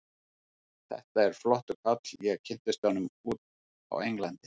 Þetta er flottur kall, ég kynntist honum úti á Englandi.